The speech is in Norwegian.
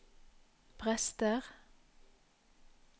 prester